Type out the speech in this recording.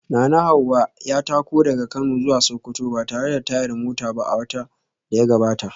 Nanahawa ya tako daga Kano zuwa Sokoto ba tare da tayar mota ba a watan da ya gabata